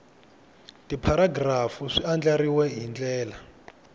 tipharagirafu swi andlariwile hi ndlela